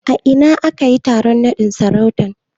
A ina aka yi taron naɗin sarautan?